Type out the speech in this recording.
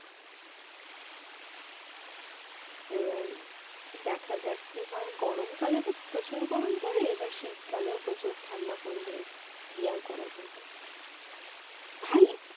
এবার দেখা যাক কি হয় গরমকালে তো প্রচুর গরম পড়ে এবার শীতকালেও প্রচুর ঠাণ্ডা পড়লে কি আর করা যাবে